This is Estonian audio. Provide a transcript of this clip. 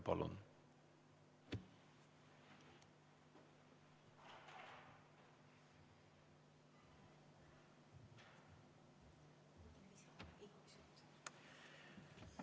Palun!